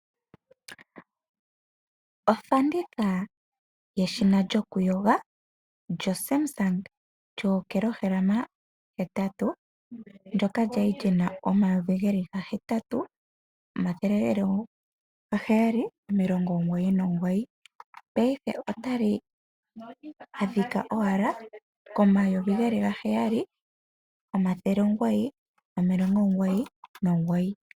Ofanditha yeshina lyoku yoga lyoSamsung lyokilohala hetatu lyoka lyali lyina omayovu hahetatu paife otali adhika owala komayovi haheyali omathele omugoyi nomilongo omugoyi nogoyi